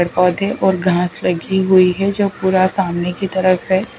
पेड़ पौधे और घास लगी हुई है जो पूरा सामने की तरफ है।